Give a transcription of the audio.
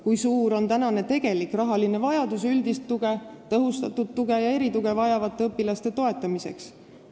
Kui suur on tegelik rahavajadus üldist tuge, tõhustatud tuge ja erituge vajavate õpilaste toetamiseks?